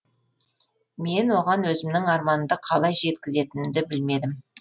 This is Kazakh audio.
мен оған өзімнің арманымды қалай жеткізетінімді білмедім